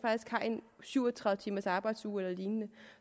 syv og tredive timers arbejdsuge eller lignende